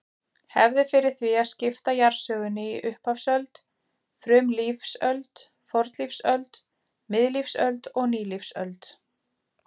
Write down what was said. Hefð er fyrir því að skipta jarðsögunni í upphafsöld, frumlífsöld, fornlífsöld, miðlífsöld og nýlífsöld.